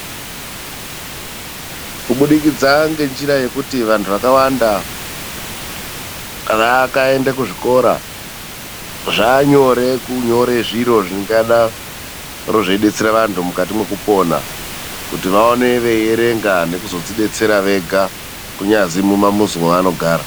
Kubidikidza ngenjira yekuti vantu vakawanda vakaenda kuzvikora zvaanyore kunyore zviro zvingadaro zveidetsera vanhtu mukati mwekupona, kuti vaone veierenga nekuzozvidetsera vega kunyazwi mumamuzi mavanogara.